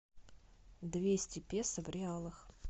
двести песо в реалах